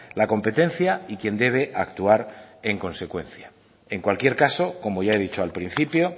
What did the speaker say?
la competencia y quien debe actuar en consecuencia en cualquier caso como ya he dicho al principio